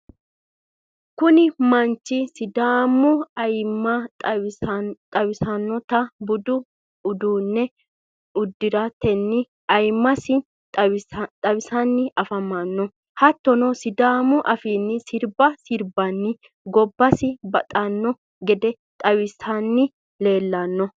kuni manchi sidamu ayimma xawisannota budu uddano uddiratenni ayyimasi xawisanni afamanno. hattonni sidamu afiiha sirba sirbatenni gobbasi baxanno gede xawisanni leellanno.